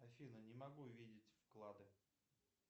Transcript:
афина не могу видеть вклады